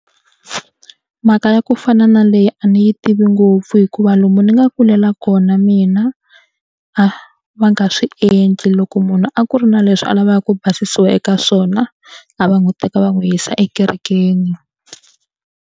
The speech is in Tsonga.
Mhaka ya ku fana na leyi a ni yi tivi ngopfu hikuva lomu ni nga kulela kona mina a va nga swi endli loko munhu a ku ri na leswi a lavaka ku basisiwa eka swona a va n'wi teka va n'wi yisa ekerekeni.